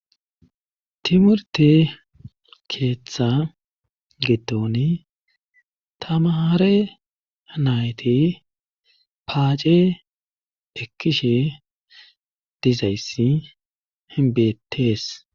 timurte keeththa getoni tamahare nayti paace ekkishe dizayssi hinbetees